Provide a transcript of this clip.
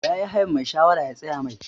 Ya yi hayan mai shawara ya tsaya Mai.